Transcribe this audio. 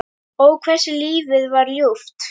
Ó, hversu lífið var ljúft.